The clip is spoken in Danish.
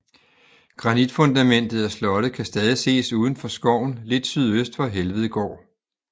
Granitfundamentet af slottet kan stadig ses uden for skoven lidt sydøst for Helvedgård